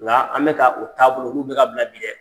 Nka an bɛ ka o taabolow olu bɛka bila bi dɛ!